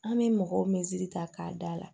An bɛ mɔgɔw ta k'a da la